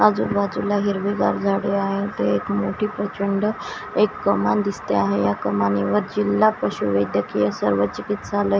आजूबाजूला हिरवीगार झाडे आहेत एक मोठी प्रचंड एक कमान दिसते आहे या कमाणीवर जिल्हा पशुवैद्यकीय सर्वचिकीत्सालय --